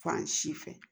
Fan si fɛ